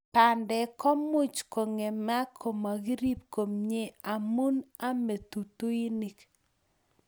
Pandek komuchi kongemak komakirip komie amu amei tutuinik